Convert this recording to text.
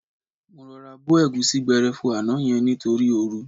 Mo rọra bo ẹ̀gúsí gbẹrẹfu àná yẹn nítorí ooru.